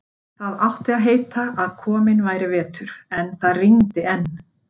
Það átti að heita að kominn væri vetur, en það rigndi enn.